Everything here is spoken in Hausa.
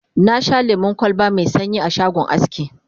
na Sha lemun kwalba Mai sanyi a shagon aski